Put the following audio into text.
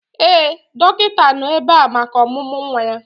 Ee, dọkịta nọ ebe a maka ọmụmụ nwa ya.